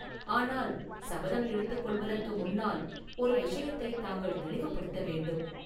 ஆனால் சபதம் எடுத்துக் கொள்வதற்கு முன்னால் ஒரு விஷயத்தை தாங்கள் தெளிவுபடுத்த வேண்டும்.